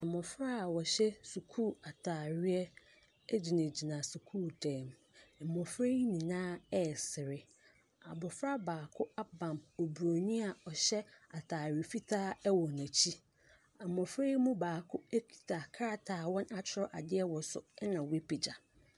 Mmɔfra a wɔhyɛ sukuu ataareɛ gyinagyina sukuu dan mu. Mmɔfra yi nyinaa resere. Abɔfra baako abam Oburoni a ɔhyɛ ataare fitaa wɔ n’akyi. Mmɔfra yi mu baako kita krataa a wɔatwerɛ adeɛ wɔ so na wapagya.